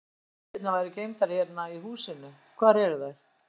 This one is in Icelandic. Þið sögðuð að myndirnar væru geymdar hérna í húsinu, hvar eru þær?